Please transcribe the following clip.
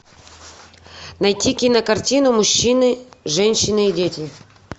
найти кинокартину мужчины женщины и дети